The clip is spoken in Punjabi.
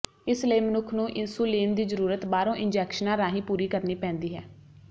ਇਸ ਲਈ ਮਨੁੱਖ ਨੂੰ ਇੰਸੂਲੀਨ ਦੀ ਜ਼ਰੂਰਤ ਬਾਹਰੋਂ ਇੰਜੈਕਸ਼ਨਾਂ ਰਾਹੀਂ ਪੂਰੀ ਕਰਨੀ ਪੈਂਦੀ ਹੈ